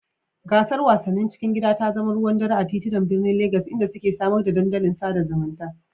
Gasar wasannin cikin gida ta zama ruwan dare a titunan birnin Legas, inda suka samar da dandalin sada zumunta.